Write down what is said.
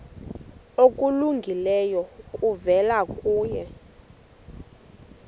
okulungileyo kuvela kuye